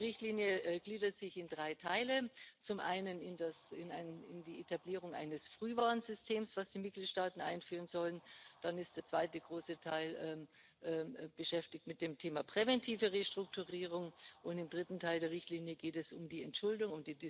Die Richtlinie gliedert sich in drei Teile Zum einen in die Etablierung eines Frühwarnsystems, das die Mitgliedstaaten einführen sollen, dann ist der zweite große Teil beschäftigt mit dem Thema präventive Restrukturierung, und im dritten Teil der Richtlinie geht es um die Entschuldung.